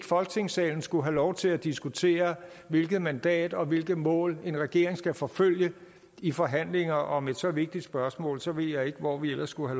folketingssalen skulle have lov til at diskutere hvilket mandat og hvilke mål en regering skal forfølge i forhandlinger om et så vigtigt spørgsmål så ved jeg ikke hvor vi ellers skulle